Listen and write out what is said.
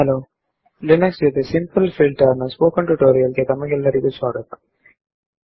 Linux ನಲ್ಲಿ simple filter ನ ಬಗ್ಗೆ ಇರುವ ಸ್ಪೋಕನ್ ಟ್ಯುಟೋರಿಯಲ್ ಗೆ ತಮಗೆಲ್ಲರಿಗೂ ಸ್ವಾಗತ